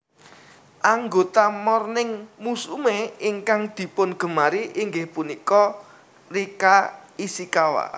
Anggota Morning Musume ingkang dipungemari inggih punika Rika Ishikawa